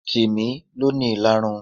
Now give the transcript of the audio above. Timi lọ ní ìlarun.